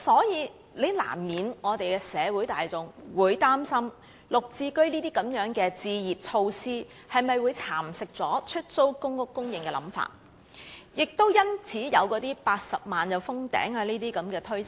因此，社會大眾難免會擔心"綠置居"的置業措施會否蠶食出租公屋的供應，亦因此有那些有關公屋單位達80萬個便會封頂的推測。